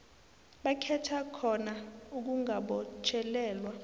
bakhetha khona ukungabotjhelelwa